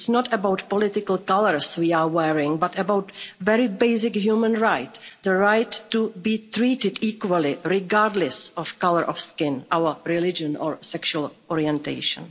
This is not about which political colours we are wearing, but about very basic human rights, the right to be treated equally, regardless of colour of skin, our religion or sexual orientation.